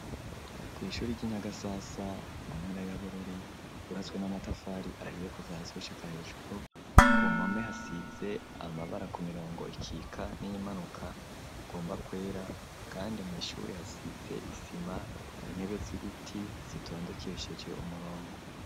Kwishuri ryi Nyagasasa mu nkara ya Bururi ryubatswe n'amatafari ahiye kuva hasi gushika hejuru ku mpome hasitse amabara ku mirongo ikika n'imanuka igomba kwera kandi mu ishuri hasize isima intebe z'ibiti zitondekesheje umurongo.